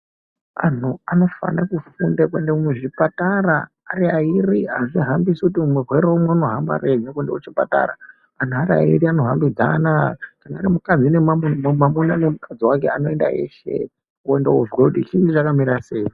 Anhu anofane kufunda kuende muzvipatara ari airi azvihambisi kuti murwere umwe unohamba ari ega kuende kuchipatara , anhu ari airi anohambidzana kana ari mwamuna nemukadzi wake anoenda eshe , koende kozwe kuti chinyi chakamira sei ?